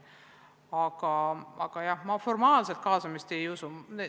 Aga jah, formaalset kaasamist ma ei usu.